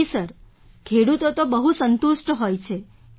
જી sir ખેડૂતો તો બહુ સંતુષ્ટ હોય છે